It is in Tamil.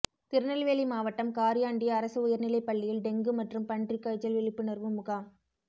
திருநெல்வேலி மாவட்டம் காரியாண்டி அரசு உயர் நிலை பள்ளியில் டெங்கு மற்றும் பன்றி காய்ச்சல் விழிப்புணர்வு முகாம்